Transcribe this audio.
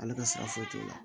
Ale ka sara foyi t'o la